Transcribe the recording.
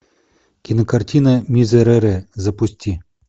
кинокартина мизерере запусти